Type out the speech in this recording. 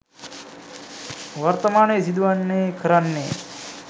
වර්තමානයේ සිදුවන්නේ කරන්නේ.